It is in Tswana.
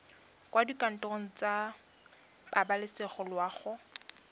kwa dikantorong tsa pabalesego loago